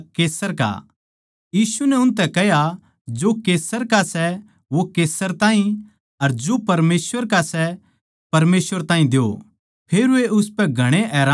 यीशु नै उनतै कह्या जो कैसर का सै वो कैसर ताहीं अर जो परमेसवर का सै परमेसवर ताहीं द्यो फेर वे उसपै घणे हैरान होण लाग्गे